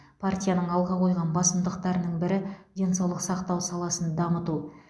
партияның алға қойған басымдықтарының бірі денсаулық сақтау саласын дамыту